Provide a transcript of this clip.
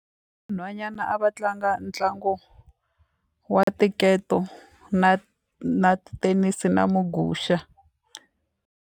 Nhwanyana a va tlanga ntlangu wa tinketo na na ti-tennis na muguxa.